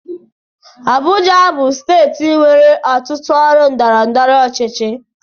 Abuja bụ steeti nwere ọtụtụ ọrụ ndọrọndọrọ ọchịchị.